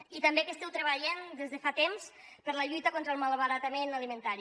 i també que esteu treballant des de fa temps per la lluita contra el malbaratament alimentari